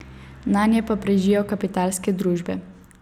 Nanje pa prežijo kapitalske družbe.